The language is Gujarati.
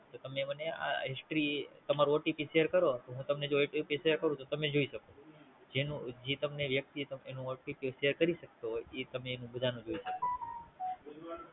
તો તમે મને આ History તમારું OTP શેર કરો તો હું તમને OTP શેર કરું તો તમે જોઈ શકો જેનું જે તમને વ્યક્તિ તમને એનું OTPShare કરી શકતો હોય ઈ તમે એનું બધાનું જોય શકો